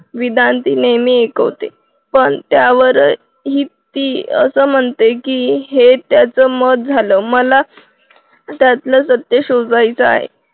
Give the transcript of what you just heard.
विधान ती नेहमी ऐकवते पण त्यावरही ती असं म्हणते की हे त्याचं मत झाल मला त्यातलं सत्य शोधायच आहे.